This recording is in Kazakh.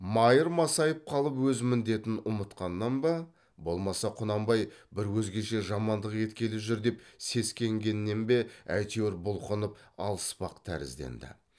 майыр масайып қалып өз міндетін ұмытқаннан ба болмаса құнанбай бір өзгеше жамандық еткелі жүр деп сескенгеннен бе әйтеуір бұлқынып алыспақ тәрізденді